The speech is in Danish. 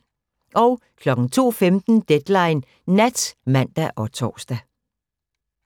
02:15: Deadline Nat (man og tor)